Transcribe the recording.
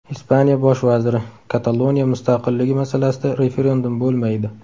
Ispaniya bosh vaziri: Kataloniya mustaqilligi masalasida referendum bo‘lmaydi.